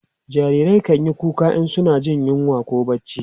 jarirai kanyi kuka in suna Jin yunwa koh barci